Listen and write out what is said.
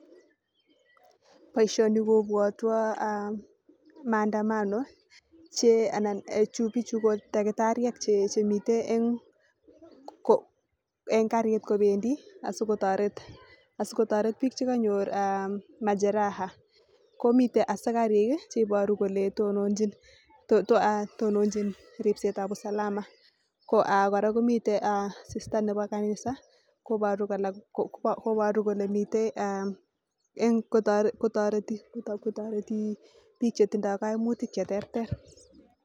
Boisioni kobwotwo maandamano bichu ko taktariek chemite eng karit kobendi asikotoret biik chekanyor majeraha komite askarik cheiboru kole tononjin riebetab usalama kora kimite sister nebo kanisa kobaru kole mite kotoreti biik chetindoi kaimutik cheterter